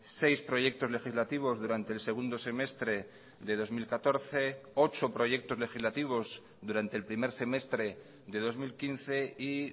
seis proyectos legislativos durante el segundo semestre de dos mil catorce ocho proyectos legislativos durante el primer semestre de dos mil quince y